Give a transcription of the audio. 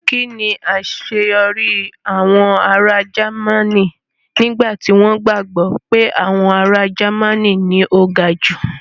kín ni àṣeyọrí àwọn ará Jẹ́mánì nígbà tí wọ́n gbàgbọ́ pé àwọn ará Jẹ́mánì ni o ga jù?